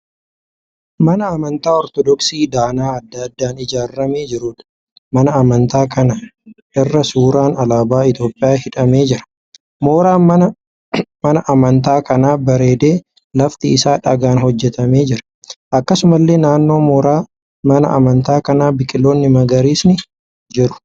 Mana amantaa Ortodoksii danaa adda addaan ijaaramee jiruudha. Mana amantaa kana irra suuraan alaabaa Itiyoopiyaa hidhamee jira. Mooraan mana amantaa kanaa bareedee lafti isaa dhagaan hojjetamee jira. Akkasumallee naannoo mooraa mana amantaa kanaa biqiloonni magariisni jiru.